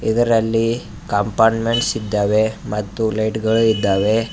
ಇದರಲ್ಲಿ ಕಾಂಪಾಟ್ಮೆಂಟ್ಸ್ ಇದ್ದಾವೆ ಮತ್ತು ಲೈಟ್ಗಳು ಇದ್ದಾವೆ.